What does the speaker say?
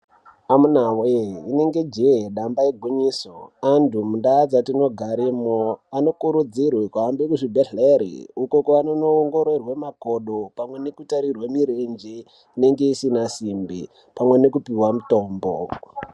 Amuna voye rinenge jee damba igwinyiso, antu mundaa dzatinogaremwo anokurudzirwe kuhambe kuzvibhedhlere uko kwavanono ongororwe makodo. Pane kutarirwe mirenje inenge isina simbi pamwe nekupihwa mutombo.